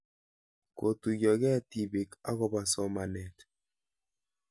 Kotuyokei tipik akopo somanet